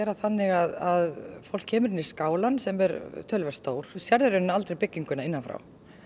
þannig að fólk kemur inn í skálann sem er töluvert stór og sérð aldrei bygginguna innan frá